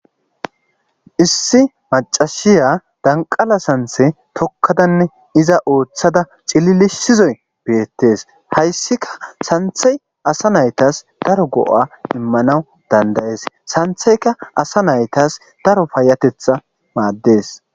Issi macashiya danqala santhe tokkadanne iza ooththada cililisizoy beettees hayssika santhey asa naytas daro go'a immanawu dandayees santheyka asa naytas daro fayatetha maaddees.